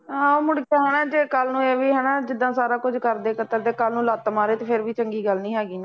ਹਾਂ ਮੁੜ ਪਾਉਣਾ ਕੱਲ੍ਹ ਨੂੰ ਇਹ ਵੀ ਹੈ ਨਾ ਜਿਦਾਂ ਸਾਰਾ ਕੁੱਝ ਕਰਦੇ ਕਤਰਦੇ ਕੱਲ੍ਹ ਨੂੰ ਲੱਤ ਮਾਰੇ ਅਤੇ ਫੇਰ ਵੀ ਚੰਗੀ ਗੱਲ੍ਹ ਨਹੀਂ ਹੈਗੀ ਨਾ